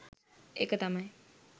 ඒක තමයි